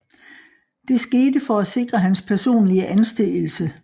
Det skete for at sikre hans personlige anseelse